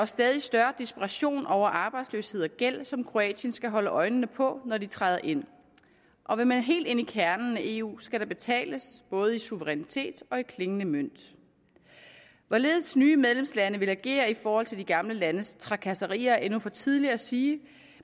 stadig større desperation over arbejdsløshed og gæld som kroatien skal holde øjnene på når de træder ind og vil man helt ind i kernen af eu skal der betales både i suverænitet og i klingende mønt hvorledes nye medlemslande vil agere i forhold til de gamle landes trakasserier er endnu for tidligt at sige